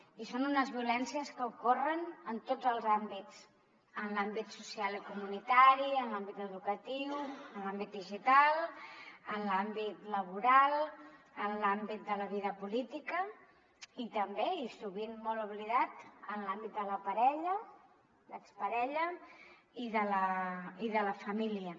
i són unes violències que ocorren en tots els àmbits en l’àmbit social i comunitari en l’àmbit educatiu en l’àmbit digital en l’àmbit laboral en l’àmbit de la vida política i també i sovint molt oblidat en l’àmbit de la parella l’exparella i de la família